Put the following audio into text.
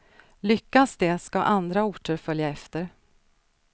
Lyckas det ska andra orter följa efter.